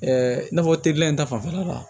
i n'a fɔ teri in ta fanfɛla la